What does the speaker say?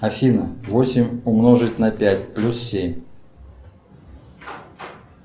афина восемь умножить на пять плюс семь